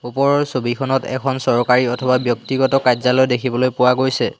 ওপৰৰ ছবিখনত এখন চৰকাৰী অথবা ব্যক্তগত কাৰ্যালয় দেখিবলৈ পোৱা গৈছে।